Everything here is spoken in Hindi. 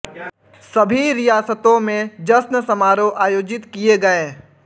सभी रियासतों में जश्न समारोह आयोजित किये गये